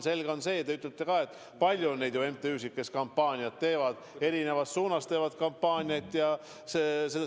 Selge on see, et nagu teiegi ütlesite, on neid MTÜ-sid, kes kampaaniat teevad – ja erinevas suunas kampaaniat –, palju.